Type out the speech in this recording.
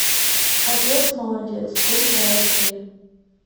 отец молодец ультра айч ди